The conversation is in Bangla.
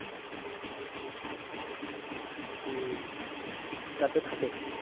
হম তা তো থাকে।